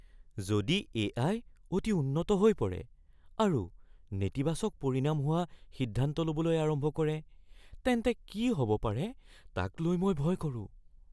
যদি এ.আই. অতি উন্নত হৈ পৰে আৰু নেতিবাচক পৰিণাম হোৱা সিদ্ধান্ত ল'বলৈ আৰম্ভ কৰে তেন্তে কি হ'ব পাৰে তাক লৈ মই ভয় কৰোঁ।